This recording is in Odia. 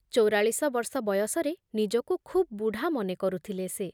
ଚଉରାଳିଶ ବର୍ଷ ବୟସରେ ନିଜକୁ ଖୁବ ବୁଢ଼ା ମନେକରୁଥିଲେ ସେ ।